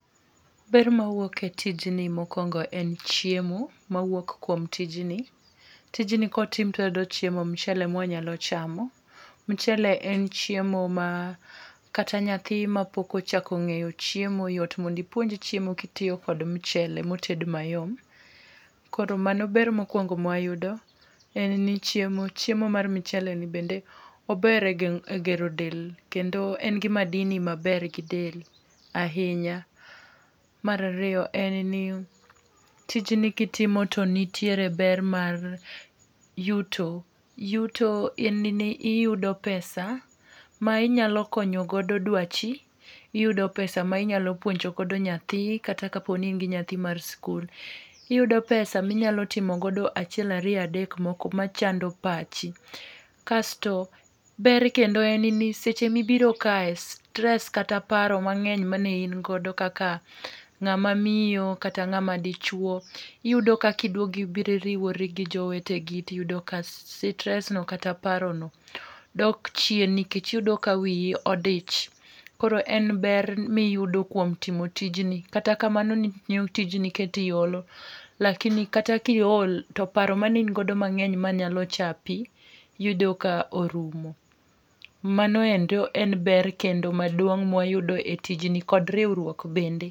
Ber mawuok e tijni mokwongo en chiemo ma wuok kuom tijni. Tijni kotim to wayudo chiemo michele ma wanyalo chamo. Michele en chiemo ma kata nyathi ma pok ochako ngeyo chiemo yot mondo ipuonje chiemo kitiyo kod michele moted mayom. Kor mano ber mokwongo mwayudo en ni chiemo chiemo mar michele ni bende ober e gero del kendo en gi madini maber gi del ahinya. Mar aeriyo en ni tijni kitimo to nitie ber mar yuto. Yuto en ni iyudo pesa ma inyalo konyo godo dwachi. Iyudo pesa ma inyalo puonjo gogo nyathi kata kopo ni in gi nyathi mar skul. Iyudo pesa minyalo timo godo achiel ariyo adek moko machando pachi. Kasto ber kendo en ni seche mibiro ka stress kata paro meng'eny mane in go kaka ng'ama miyo kata ng'ama dichuo iyudo ka kidwogo ibiro iriwori gi joweteni iyudo ka stress kata paro no dok chien nikech iyudo ka wiyi odich. Koro en ber miyudo kuom timo tij ni. Kata kamano tijni keti olo lakini kata ki ol to paro mane in godo mang'eny manyalo chapi yudo ka orumo. Mano endo en ber kendo mmaduong ma wayudo e tijni kod riwruok bende.